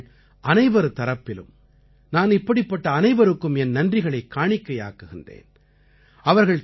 இன்று நாட்டுமக்கள் அனைவர் தரப்பிலும் நான் இப்படிப்பட்ட அனைவருக்கும் என் நன்றிகளைக் காணிக்கையாக்குகிறேன்